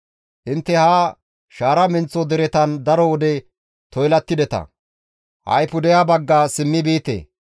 «Intte ha shaara menththo deretan daro wode toylattideta; ha7i pudeha bagga simmi biite.